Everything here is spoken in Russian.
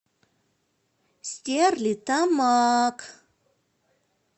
стерлитамак